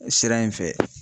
O sira in fɛ